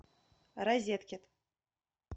розеткед